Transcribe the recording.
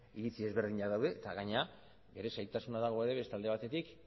iritzi ezberdinak daude eta gainera bere zailtasuna dago ere beste alde batetik